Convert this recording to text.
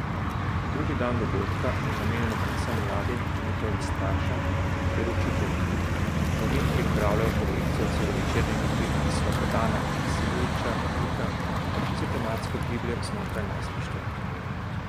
Drugi dan dogodka je namenjen predvsem mladim in njihovim staršem ter učiteljem, za njih pripravljajo projekcijo celovečernega filma Slobodana Maksimovića Nika, ki se tematsko giblje znotraj najstništva.